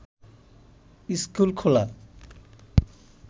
school খোলা